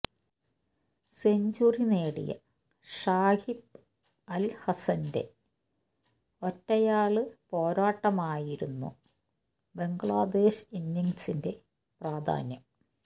century നേടിയ ഷാക്കിബ് അല് ഹസന്റെ ഒറ്റയാള് പോരാട്ടമായിരുന്നു ബംഗ്ലാദേശ് ഇന്നിങ്സിന്റെ പ്രധാന്യം